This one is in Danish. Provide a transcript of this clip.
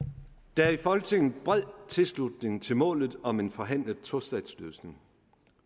der er i folketinget bred tilslutning til målet om en forhandlet tostatsløsning